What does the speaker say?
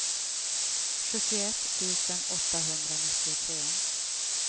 sjuttioett tusen åttahundranittiotre